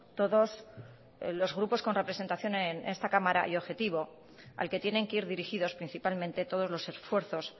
todos los grupos con representación en esta cámara y objetivo al que tienen que ir dirigidos principalmente todos los esfuerzos